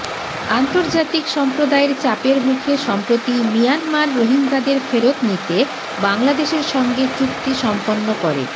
আন্তর্জাতিক সম্প্রদায়ের চাপের মুখে সম্প্রতি মিয়ানমার রোহিঙ্গাদের ফেরত নিতে বাংলাদেশের সঙ্গে চুক্তি সম্পন্ন করে